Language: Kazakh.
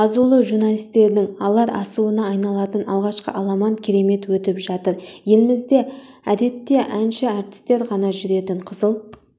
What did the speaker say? азулы журналистердің алар асуына айналатын алғашқы аламан керемет өтіп жатыр елімізде әдетте әнші-әртістер ғана жүретін қызыл